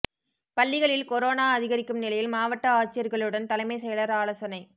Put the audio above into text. பள்ளிகளில் கொரோனா அதிகரிக்கும் நிலையில் மாவட்ட ஆட்சியர்களுடன் தலைமைச் செயலர் ஆலோசனை